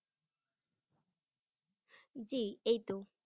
জি এইত।